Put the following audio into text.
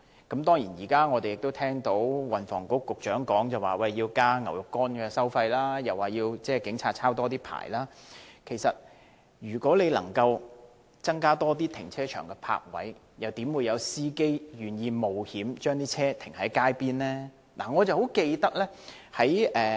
運輸及房屋局局長說要增加"牛肉乾"的收費，又要求警察多"抄牌"，但如果能夠增加停車場的泊位，又怎會有司機願意冒險把車輛停泊街邊呢？